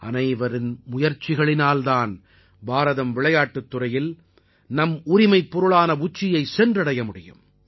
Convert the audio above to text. அனைவரின் முயற்சிகளினால் தான் பாரதம் விளையாட்டுத் துறையில் நம் உரிமைப் பொருளான உச்சியை சென்றடைய முடியும்